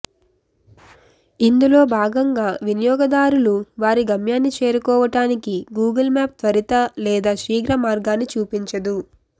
ఇందులో భాగంగా వినియోగదారులు వారి గమ్యాన్ని చేరుకోవడానికి గూగుల్ మ్యాప్ త్వరిత లేదా శీఘ్ర మార్గాన్ని చూపించదు